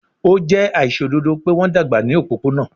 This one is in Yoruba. O jẹ aiṣododo pe wọn dagba ni opopona